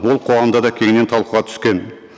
ол қоғамда да кеңінен талқыла түскен